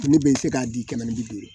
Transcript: Ne bɛ se k'a di kɛmɛ ni bi duuru